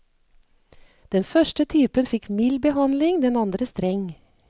Den første typen fikk mild behandling, den andre streng.